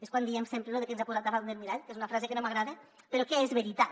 és quan diem sempre lo de que ens ha posat davant del mirall que és una frase que no m’agrada però que és veritat